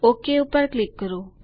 okay પર click કરો